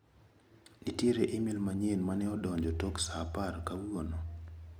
Nitiere imel manyien mane odonjo tok saa apar kawuono.